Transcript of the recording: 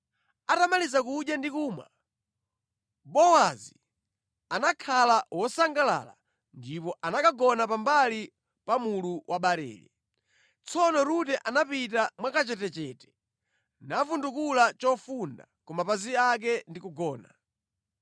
Atamaliza kudya ndi kumwa, Bowazi anakhala wosangalala, ndipo anakagona pa mbali pa mulu wa barele. Tsono Rute anapita mwa kachetechete, navundukula chofunda ku mapazi ake ndi kugona.